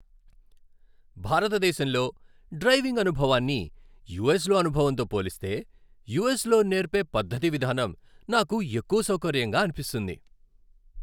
భారతదేశంలో డ్రైవింగ్ అనుభవాన్ని యుఎస్‌లో అనుభవంతో పోలిస్తే, యుఎస్‌లో నేర్పే పద్ధతిన విధానం నాకు ఎక్కువ సౌకర్యంగా అనిపిస్తుంది.